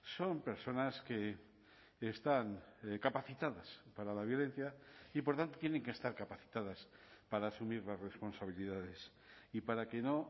son personas que están capacitadas para la violencia y por tanto tienen que estar capacitadas para asumir las responsabilidades y para que no